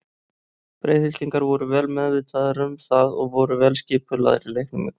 Breiðhyltingar voru vel meðvitaðir um það og voru vel skipulagðir í leiknum í kvöld.